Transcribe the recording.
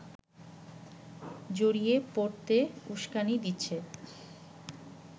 জড়িয়ে পড়তে উস্কানি দিচ্ছে